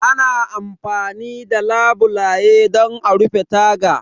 Ana amfani da labule don a rufe taga.